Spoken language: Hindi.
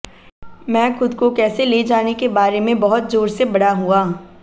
मैं खुद को कैसे ले जाने के बारे में बहुत जोर से बड़ा हुआ